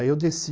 Aí eu desci.